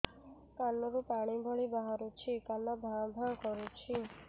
କାନ ରୁ ପାଣି ଭଳି ବାହାରୁଛି କାନ ଭାଁ ଭାଁ କରୁଛି